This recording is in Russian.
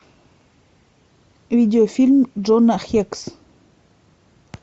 видеофильм джона хекс